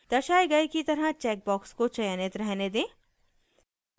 दर्शाये गए की तरह चेक बॉक्स को चयनित रहने दें